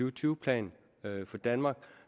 og tyve plan for danmark